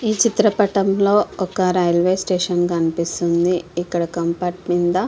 ఈ చిత్రం పటము లొ వక రైల్వే స్టేషన్ కనిపిస్తుంది. ఇక్కడ కంపార్ట్మెంట్ మిద --